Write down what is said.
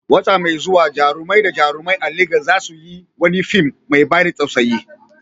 Wata mai zuwa, jarumai da jarumai a Legas za su yi wani fim mai ban tausayi